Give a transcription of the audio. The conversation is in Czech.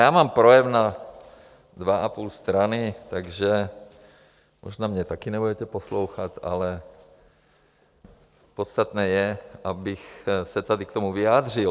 Já mám projev na dvě a půl strany, takže možná mě taky nebudete poslouchat, ale podstatné je, abych se tady k tomu vyjádřil.